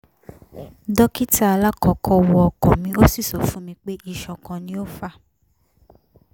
dókítà alakọ́kọ́ wo ọkàn mi o si sọ fún mi pé isan kan ni o fa